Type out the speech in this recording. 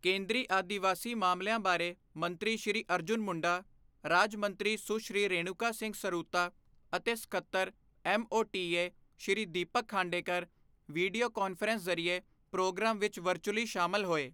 ਕੇਂਦਰੀ ਆਦਿਵਾਸੀ ਮਾਮਲਿਆਂ ਬਾਰੇ ਮੰਤਰੀ ਸ਼੍ਰੀ ਅਰਜੁਨ ਮੁੰਡਾ, ਰਾਜ ਮੰਤਰੀ ਸੁਸ਼੍ਰੀ ਰੇਣੂਕਾ ਸਿੰਘ ਸਰੂਤਾ ਅਤੇ ਸੱਕਤਰ, MoTA Shri Deepak Khandekar video conference ਜ਼ਰੀਏ ਪ੍ਰੋਗਰਾਮ ਵਿੱਚ ਵਰਚੁਅਲੀ ਸ਼ਾਮਲ ਹੋਏ।